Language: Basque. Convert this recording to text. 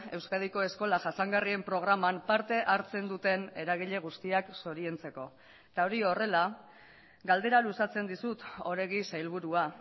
euskadiko eskola jasangarrien programan parte hartzen duten eragile guztiak zoriontzeko eta hori horrela galdera luzatzen dizut oregi sailburua